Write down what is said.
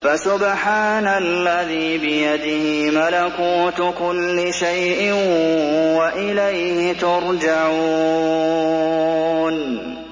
فَسُبْحَانَ الَّذِي بِيَدِهِ مَلَكُوتُ كُلِّ شَيْءٍ وَإِلَيْهِ تُرْجَعُونَ